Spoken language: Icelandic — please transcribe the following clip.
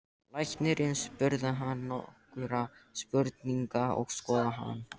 Læknirinn spurði hann nokkurra spurninga og skoðaði hann.